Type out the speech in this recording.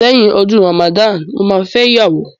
Lẹ́yìn ọdún Ramadan mo máa fẹ́ ìyàwó.